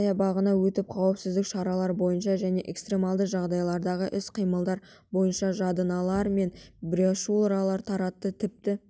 саябағына өтіп қауіпсіздік шаралары бойынша және экстремалды жағдайлардағы іс-қимылдар бойынша жадынамалар мен брошюралар таратты тіпті